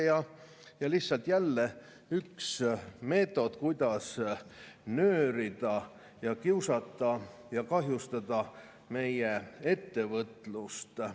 See on lihtsalt jälle üks meetod, kuidas nöörida, kiusata ja kahjustada meie ettevõtlust.